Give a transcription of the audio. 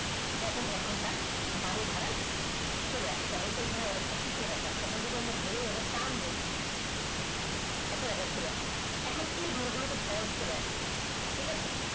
যেমন এখন তার গাড়ি ভাড়া চলে আসে এইখানে যেমন একটা সূত্র দেখাচ্ছে এখন যদি আমরা ধরে নেই যদি টান দিই তা এখন এই ঘরগুলোতে false চলে আসবে ঠিক আছে